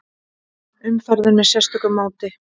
Umferðin með sérstöku móti